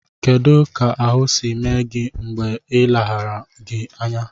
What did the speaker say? Kedụ ka ahụ si mee gị mgbe ha leghara gị anya?